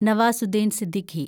Nawazuddin Siddiqui